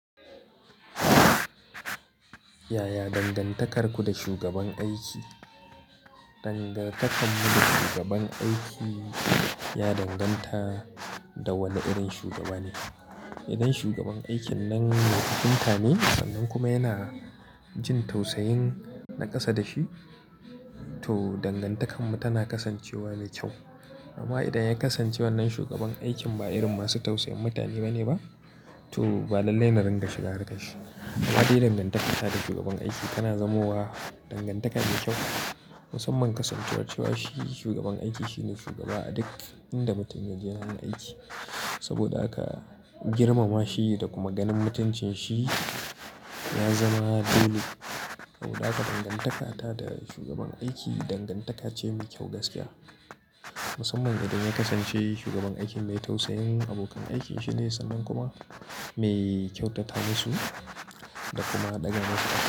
Yaya dangantakarku da shugaban aiki? Dangantakarmu da shugaban aiki ya danganta da wane irin shugaba ne. Idan shugaban aikin nan mai kwatanta ne sannan kuma yana jin tausayin naƙasa da shi, to dangantakarmu tana kasancewa mai kyau. Amma idan ya kasance wannan shugaban aikin ba irin masu tausayin mutane ba ne ba, to ba lallai na rinƙa shigar harkar shi. Amma idan dangantaka ta da shugaban aiki tana zamowa dangantaka mai kyau, musamman kasancewar cewa shi shugaban aiki shine shugaba a duk inda mutum ya je wurin aiki. Saboda haka girmama shi da kuma ganin mutuncin shi ya zama dole. Saboda haka dangantaka ta da shugaban aiki dangantaka ce mai kyau gaskiya. Musamman idan ya kasance shugaban aiki mai tausayin abokan aikin shi ne sannan kuma mai kyautata masu da kuma ɗaga musu ƙafa.